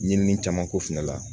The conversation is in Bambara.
Ɲinini caman ko fɛnɛ la